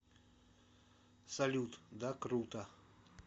салют да круто